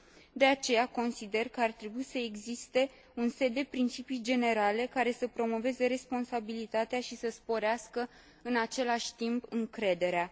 De aceea, consider că ar trebui să existe un set de principii generale care să promoveze responsabilitatea și să sporească, în același timp, încrederea.